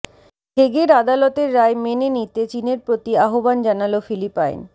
হেগের আদালতের রায় মেনে নিতে চীনের প্রতি আহ্বান জানাল ফিলিপাইন